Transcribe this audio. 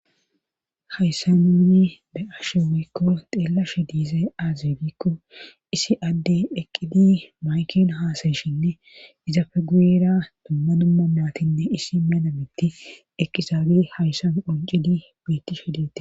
Hayssamini be7ashe wikko xeelashe diize aazibikko isi adde dheqqidi mayken haasayshinne izafeguera dumma dumma maatinne isi menamitti eqqizaagi hayssam qoncidi biitti shidete.